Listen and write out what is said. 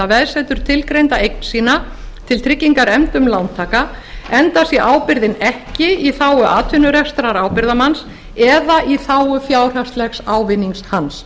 eða veðsetur tilgreinda eign sína til tryggingar efndum lántaka enda sé ábyrgðin ekki í þágu atvinnurekstrar ábyrgðarmanns eða í þágu fjárhagslegs ávinnings hans